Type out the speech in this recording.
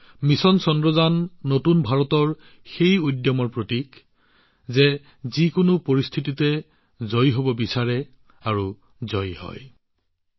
mission Chandrayaan নতুন ভাৰতৰ মনোভাৱৰ প্ৰতীক হৈ পৰিছে যি যিকোনো পৰিস্থিতিত জয়ী হব বিচাৰে আৰু যিকোনো পৰিস্থিতিত জয়ী হবও জানে